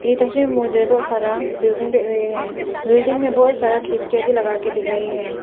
ये तस्वीर में मुझे बहुत सारा बिल्डिंग दिख रहे है बिल्डिंग में बहुत सारा खिड़कियां भी लगा के दिख रही है।